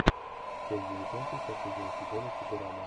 часть девятнадцать последнего сезона футурама